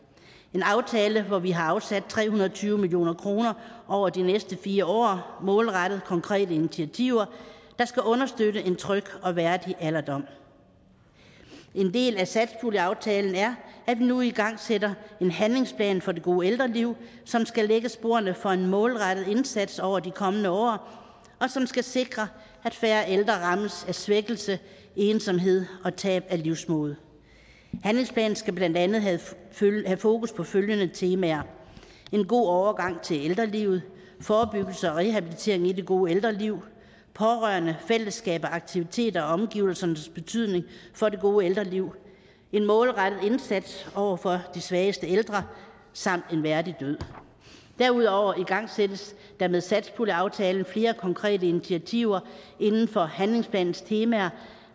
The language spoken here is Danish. en aftale hvor vi har afsat tre hundrede og tyve million kroner over de næste fire år målrettet konkrete initiativer der skal understøtte en tryg og værdig alderdom en del af satspuljeaftalen er at den nu igangsætter en handlingsplan for det gode ældreliv som skal lægge sporene for en målrettet indsats over de kommende år og som skal sikre at færre ældre rammes af svækkelse ensomhed og tab af livsmod handlingsplanen skal blandt andet have fokus på følgende temaer en god overgang til ældrelivet forebyggelse og rehabilitering i det gode ældreliv pårørende fællesskab og aktiviteter og omgivelsernes betydning for det gode ældreliv en målrettet indsats over for de svageste ældre samt en værdig død derudover igangsættes der med satspuljeaftalen flere konkrete initiativer inden for handlingsplanens temaer